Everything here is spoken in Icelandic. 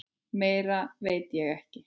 Meira veit ég ekki.